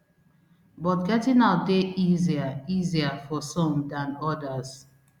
but getting out dey easier easier for some dan odas